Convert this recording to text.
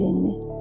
dedi Leni.